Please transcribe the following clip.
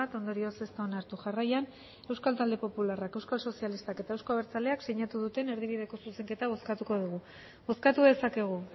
ondorioz ez da onartu jarraian euskal talde popularrak euskal sozialistak eta euzko abertzaleak sinatu duten erdibideko zuzenketak bozkatuko dugu bozkatu dezakegu